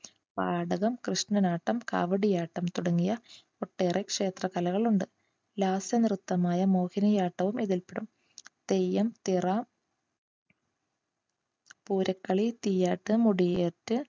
പാടം, കൃഷ്ണനാട്ടം, കാവടിയാട്ടം തുടങ്ങിയ ഒട്ടേറെ ക്ഷേത്ര കലകൾ ഉണ്ട്. ലാസ്യ നൃത്തമായ മോഹിനിയാട്ടവും ഇതിൽപെടും. തെയ്യം തിറ പൂരക്കളി തീയ്യാട്ടം മുടിയേറ്റ്